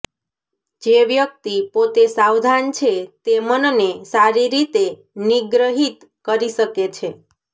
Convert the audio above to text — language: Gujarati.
જે વ્યક્તિ પોતે સાવધાન છે તે મનને સારી રીતે નિગ્રહિત કરી શકે છે